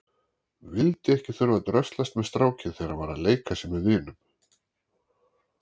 Vildi ekki þurfa að dröslast með strákinn þegar hann var að leika sér með vinum.